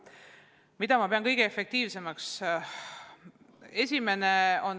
Mida ma pean kõige efektiivsemaks?